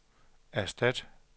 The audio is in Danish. erstat